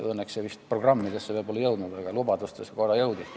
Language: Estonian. Õnneks see vist programmidesse veel pole jõudnud, aga lubadustesse korra jõudis.